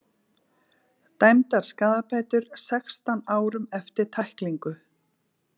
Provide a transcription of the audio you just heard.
Dæmdar skaðabætur sextán árum eftir tæklingu